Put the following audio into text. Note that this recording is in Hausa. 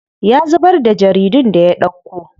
Ya zubar da jaridun da ya ɗauko.